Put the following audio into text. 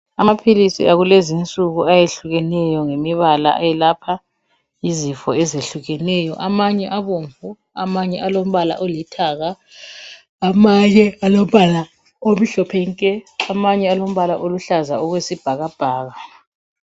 Amaphilisi akulezinsuku ayehlukeneyo ngemibala ayelapha izifo ezehlukeneyo. Amanye abomvu amanye alombala olithanga. Amanye alombala omhlophe nke amanye alombala oluhlaza okwesibhakabhaka.